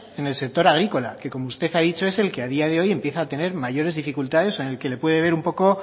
en el sector agrícola que como usted ha dicho es el que a día de hoy empieza a tener mayores dificultades o en el que le puede ver un poco